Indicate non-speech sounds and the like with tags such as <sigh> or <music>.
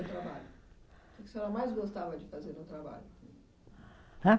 <unintelligible> Trabalho. O que que a senhora mais gostava de fazer no trabalho? Hã?